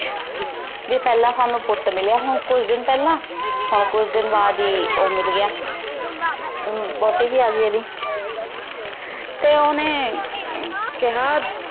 ਭੀ ਪੇਹ੍ਲਾਂ ਸਾਨੂ ਪੁਤ ਮਿਲਯਾ ਹਨ ਕੁਛ ਦਿਨ ਪੇਹ੍ਲਾਂ ਹਨ ਕੁਛ ਦਿਨ ਬਾਅਦ ਈ ਊ ਮਿਲ ਗਯਾ ਵੋਹਟੀ ਵੀ ਆਗੈ ਏਡੀ ਤੇ ਓਹਨੇ ਕੇਹਾ